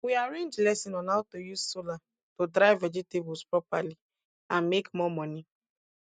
we arrange lesson on how to use solar to dry vegetables properly and make more money